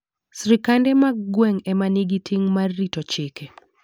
Sirkande mag gweng' ema nigi ting' mar rito chike.